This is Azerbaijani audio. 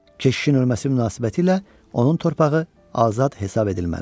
Keşişin ölməsi münasibətilə onun torpağı azad hesab edilməlidir.